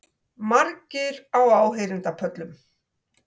Margir á áheyrendapöllum